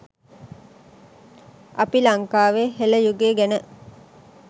අපි ලංකාවේ හෙළ යුගය ගැන